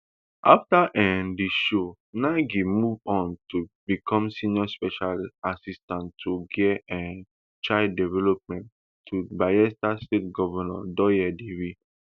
afta um di show nengi move on to become senior special assistant on girl um child development to bayelsa state govnor douye diri